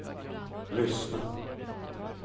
lyssna